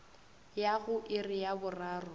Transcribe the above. ya go iri ya boraro